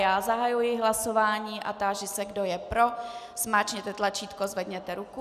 Já zahajuji hlasování a táži se, kdo je pro, zmáčkněte tlačítko, zvedněte ruku.